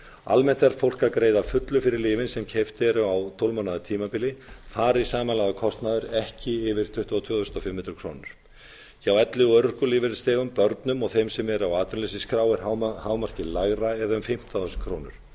almennt er fólk að greiða að fullu fyrir lyfin sem keypt eru á tólf mánaða tímabili fari samanlagður kostnaður ekki yfir tuttugu og tvö þúsund fimm hundruð krónur hjá elli og örorkulífeyrisþegum börnum og þeim sem eru á atvinnuleysisskrá er hámarkið l ætla eða um fimmtán þúsund krónur